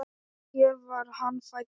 Hér var hann fæddur.